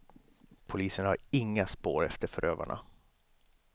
Polisen har inga spår efter förövarna.